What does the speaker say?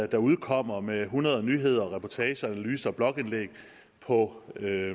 der udkommer med hundrede nyheder reportager analyser og blogindlæg på